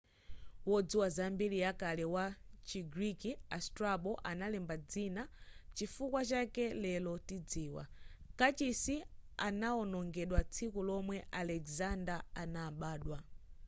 wodziwa za mbiri ya kale wa chi greek a strabo analemba dzina nchifukwa chake lero tidziwa kachisi anaonongedwa tsiku lomwe alexander anabadwa